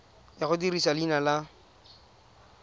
ya go dirisa leina la